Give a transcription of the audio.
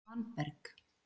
Svanberg